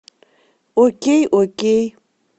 окей окей